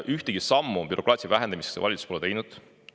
Ühtegi sammu bürokraatia vähendamiseks valitsus pole teinud.